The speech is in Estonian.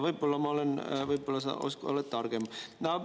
Aga võib-olla sa oled targem.